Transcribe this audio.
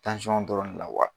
dɔrɔn de la wa